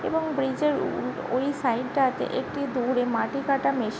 এবং ব্রিজ -এর ও ওই সাইড টা তে একটু দূরে মাটি কাটা মেশিন --